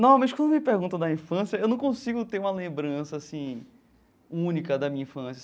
Normalmente, quando me perguntam da infância, eu não consigo ter uma lembrança assim única da minha infância.